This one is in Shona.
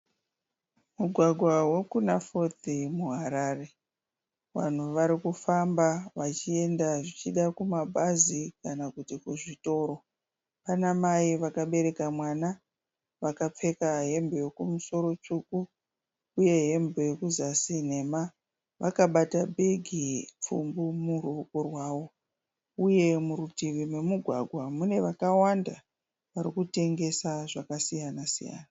Mugwagwa wekunaFourth muHarare. Vanhu vari kufamba vachienda zvichida kumabhazi kana kuti kuzvitoro. Pana mai vakabereka mwana, vakapfeka hembe yekumusoro tsvuku uye hembe yekuzasi nhema. Vakabata bhegi pfumbu muruwoko rwavo. Uye murutivi memugwagwa mune vakawanda vari kutengesa zvakasiyana siyana.